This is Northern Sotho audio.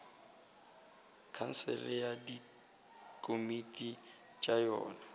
khansele le dikomiti tša yona